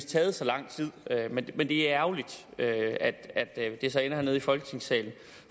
taget så lang tid men det er ærgerligt at det så ender hernede i folketingssalen